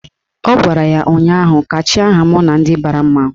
Ọ gwara ya ụnyaahụ " kachie aha m na ndị bara mmanwụ"!